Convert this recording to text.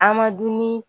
An ma dumuni